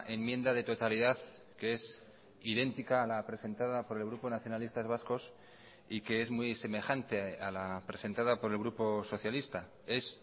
enmienda de totalidad que es idéntica a la presentada por el grupo nacionalistas vascos y que es muy semejante a la presentada por el grupo socialista es